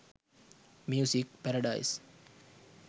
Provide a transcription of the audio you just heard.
music paradise